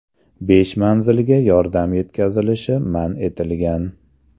Besh manzilga yordam yetkazilishi man etilgan.